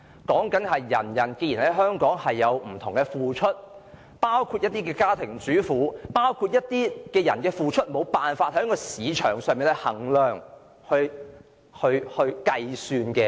意思是，人人在香港有不同的付出，包括家庭主婦和一些群體其付出是無法在市場上衡量及計算的。